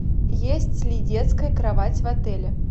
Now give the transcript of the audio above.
есть ли детская кровать в отеле